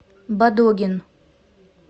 бадогин